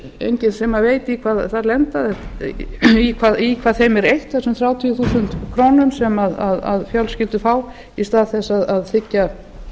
enginn sem veit í hvað þeim er eytt þessum þrjátíu þúsund krónur sem fjölskyldur fá í stað þess að þiggja